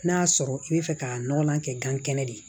N'a y'a sɔrɔ i bɛ fɛ ka nɔgɔnlan kɛ gan kɛnɛ de ye